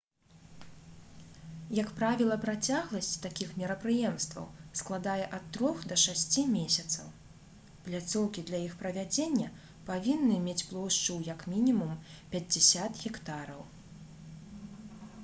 як правіла працягласць такіх мерапрыемстваў складае ад трох да шасці месяцаў пляцоўкі для іх правядзення павінны мець плошчу ў як мінімум 50 гектараў